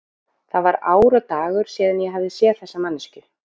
Það var ár og dagur síðan ég hafði séð þessa manneskju.